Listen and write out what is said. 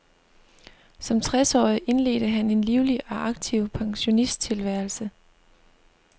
Som tres årig indledte han en livlig og aktiv pensionisttilværelse.